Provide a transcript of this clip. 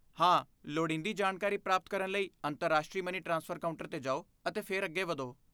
ਹਾਂ, ਲੋੜੀਂਦੀ ਜਾਣਕਾਰੀ ਪ੍ਰਾਪਤ ਕਰਨ ਲਈ ਅੰਤਰਰਾਸ਼ਟਰੀ ਮਨੀ ਟ੍ਰਾਂਸਫਰ ਕਾਊਂਟਰ 'ਤੇ ਜਾਓ ਅਤੇ ਫਿਰ ਅੱਗੇ ਵਧੋ।